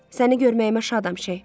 Səni görməyimə şadam, Şeyx.